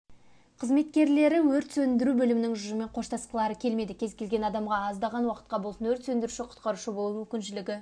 қызметкерлері өрт сөндіру бөлімінің ұжымымен қоштасқылары келмеді кез-келген адамға аздаған уақытқа болсын өрт сөндіруші-құтқарушы болу мүмкіншілігі